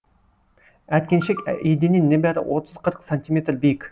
әткеншек еденнен небәрі отыз қырық сантиметр биік